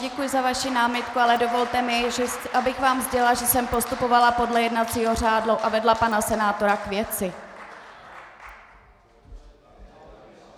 Děkuji za vaši námitku, ale dovolte mi, abych vám sdělila, že jsem postupovala podle jednacího řádu a vedla pana senátora k věci.